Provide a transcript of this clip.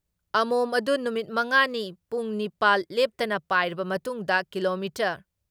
ꯑꯃꯣꯝ ꯑꯗꯨ ꯅꯨꯃꯤꯠ ꯃꯉꯥ ꯅꯤ ꯄꯨꯡ ꯅꯤꯄꯥꯜ ꯂꯦꯞꯇꯅ ꯄꯥꯏꯔꯕ ꯃꯇꯨꯡꯗ ꯀꯤꯂꯣꯃꯤꯇꯔ